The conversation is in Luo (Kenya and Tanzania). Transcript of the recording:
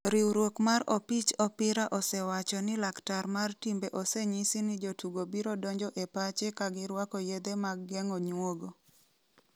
Riwruok mar opich opira osewacho ni laktar mar timbe osenyisi ni jotugo biro donjo e pache ka girwako yedhe mag geng'o nyuogo.